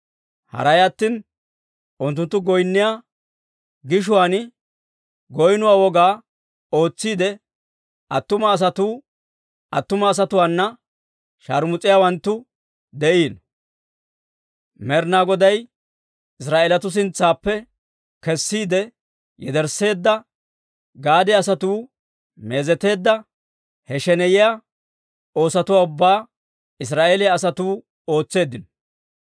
Haray attina unttunttu goynniyaa gishuwaan goynnuwaa woga ootsiide attuma asatuu attuma asatuwaana shaarmus'iyaawanttu de'iino. Med'inaa Goday Israa'eelatuu sintsaappe kessiide yedersseedda gade asatuu meezeteedda, he sheneyiyaa oosotuwaa ubbaa Israa'eeliyaa asatuu ootseeddino.